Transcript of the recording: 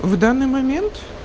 в данный момент